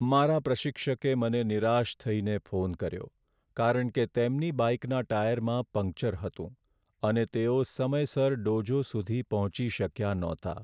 મારા પ્રશિક્ષકે મને નિરાશ થઈને ફોન કર્યો કારણ કે તેમની બાઇકનાં ટાયરમાં પંક્ચર હતું અને તેઓ સમયસર ડોજો સુધી પહોંચી શક્યા નહોતા.